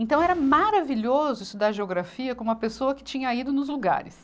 Então era maravilhoso estudar geografia com uma pessoa que tinha ido nos lugares.